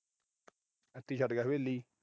ਇੱਥੇ ਹੀ ਛੱਡ ਗਿਆ ਹਵੇਲੀ।